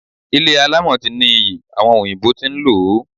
Ilé alámọ̀ ti ní iyì, àwọn òyìnbó tí ń lò ó.